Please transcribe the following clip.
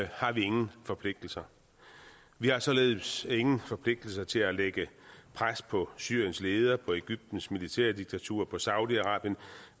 har vi ingen forpligtelser vi har således ingen forpligtelser til at lægge pres på syriens leder på egyptens militærdiktatur på saudi arabien